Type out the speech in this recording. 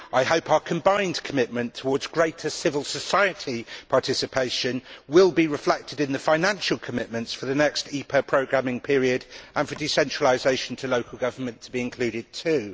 I hope our combined commitment towards greater civil society participation will be reflected in the financial commitments for the next IPA programming period and for decentralisation to local government to be included too.